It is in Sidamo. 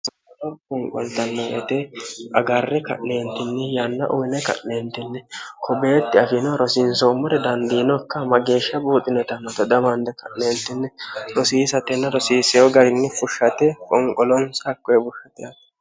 soro konqoltannoete agarre ka'leentinni yanna uyine ka'neentinni kobeetti afiino rosiinsoommore dandiinokka ma geeshsha buuxineta mote damaanne ka'leeltinni rosiisatenna rosiiseeho garinni fushshate qonqoloonsi hakkoe burshate hati